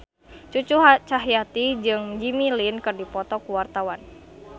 Cucu Cahyati jeung Jimmy Lin keur dipoto ku wartawan